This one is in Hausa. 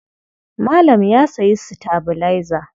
Malam ya sayi sitabilaiza.